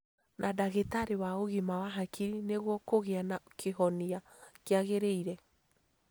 Na ndagĩtarĩ wa ũgima wa hakiri nĩguo kũgĩa na kĩhonia kĩagĩrĩire